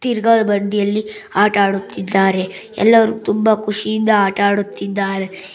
ತಿರುಗೋ ಬಂಡಿಯಲ್ಲಿ ಆಟವಾಡುತ್ತಿದ್ದಾರೆ ಎಲ್ಲರೂ ತುಂಬಾ ಖುಷಿಯಿಂದ ಆಟ ಆಡುತ್ತಿದ್ದಾರೆ.